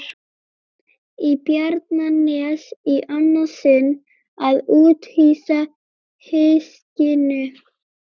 Í Bjarnanes í annað sinn að úthýsa hyskinu.